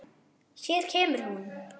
Hér kemur hún.